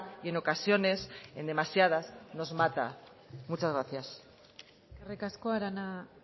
y en ocasiones en demasiadas nos mata muchas gracias eskerrik asko arana